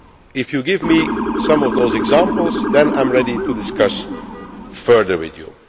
If you give me some of those examples then I am ready to discuss further with you.